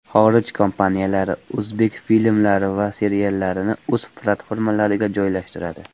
Xorij kompaniyalari o‘zbek filmlari va seriallarini o‘z platformalariga joylashtiradi.